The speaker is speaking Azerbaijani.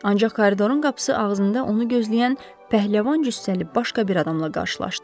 Ancaq koridorun qapısı ağzında onu gözləyən pəhləvan cüssəli başqa bir adamla qarşılaşdı.